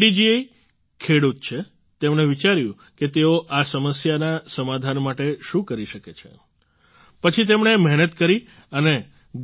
રેડ્ડી જી ખેડૂત છે તેમણે વિચાર્યું કે તેઓ આ સમસ્યાના સમાધાન માટે શું કરી શકે છે પછી તેમણે મહેનત કરી અને